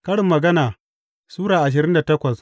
Karin Magana Sura ashirin da takwas